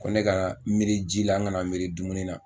Ko ne ka miiri ji la n kana miiri dumuni na.